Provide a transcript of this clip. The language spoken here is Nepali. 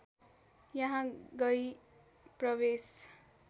यहाँ गई प्रवेश